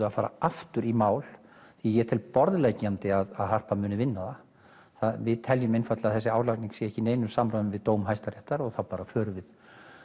að fara aftur í mál ég tel borðleggjandi að Harpa muni vinna það við teljum einfaldlega að þessi álagning sé ekki í neinu samræmi við dóm hæstaréttar og þá bara förum við